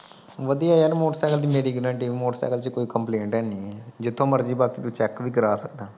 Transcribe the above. ਵਧੀਆ ਯਾਰ ਮੋਟਰਸਾਈਕਲ ਦੀ ਮੇਰੀ ਗਾਰੰਟੀ ਮੋਟਰਸਾਈਕਲ ਚ ਕੋਈ ਕੰਪਲੇਟ ਹੈ ਨਹੀ ਹੈ। ਜਿੱਥੋਂ ਮਰਜੀ ਬਾਕੀ ਤੂੰ ਚੈੱਕ ਵੀ ਕਰਵਾ ਸਕਦਾ ਆ।